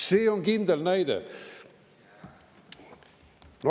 See on kindel näide.